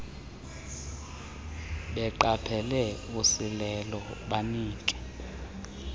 beqaphele usilelo banike